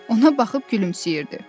Ona baxıb gülümsəyirdi.